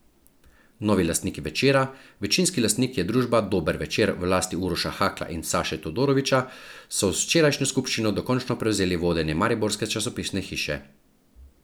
Novi lastniki Večera, večinski lastnik je družba Dober Večer v lasti Uroša Hakla in Saše Todorovića, so z včerajšnjo skupščino dokončno prevzeli vodenje mariborske časopisne hiše.